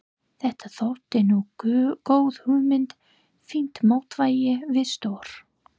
Þetta þótti nú góð hugmynd, fínt mótvægi við stór